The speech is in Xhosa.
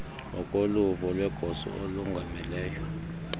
ngokoluvo lwegosa elongameleyo